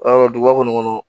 Ɔ duguba kɔnɔ